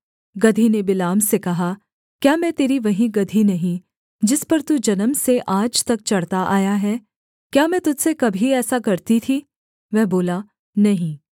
गदही ने बिलाम से कहा क्या मैं तेरी वही गदही नहीं जिस पर तू जन्म से आज तक चढ़ता आया है क्या मैं तुझ से कभी ऐसा करती थी वह बोला नहीं